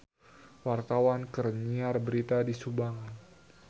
Wartawan keur nyiar berita di Subang